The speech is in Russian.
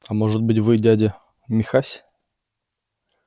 а может быть вы дядя михась